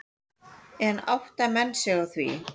En átta menn sig á því?